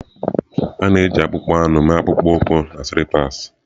A na-eji akpụkpọ anụ mee akpụkpọ ụkwụ na sịlipas.